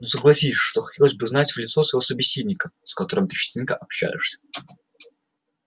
но согласись что хотелось бы знать в лицо своего собеседника с которым ты частенько общаешься